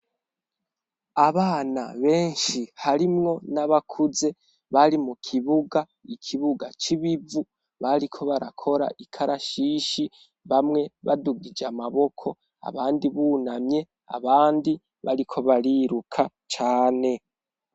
Abana benshi harimwo n'abakuze, bari mu kibuga, ikibuga c'ibivu bariko barakora ikarashishi bamwe badugije amaboko, abandi bunamye, abandi bariko bariruka cane.